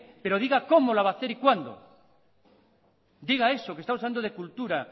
pero diga cómo la va a hacer y cuándo diga eso que estamos hablando de cultura